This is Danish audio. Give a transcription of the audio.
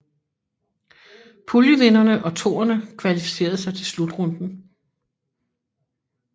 Puljevinderne og toerne kvalificerede sig til slutrunden